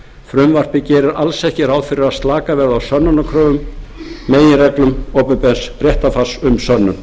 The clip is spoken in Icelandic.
frumvarpið gerir alls ekki ráð fyrir að slakað verði á sönnunarkröfum meginreglum opinbers réttarfars um sönnun